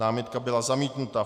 Námitka byla zamítnuta.